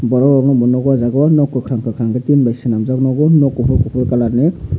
borok rok nog kakrang kakrang ke tin bai swnamjak nogo nog kufur kufur kalar ni.